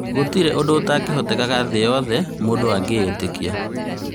Gũtĩrĩ ũndũ ũtangĩhotekeka thĩ yothe mũndũ angĩĩtĩkia